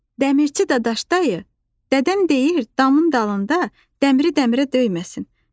Dəmirçi Dadaş dayı, dədəm deyir damın dalında dəmiri dəmirə döyməsin.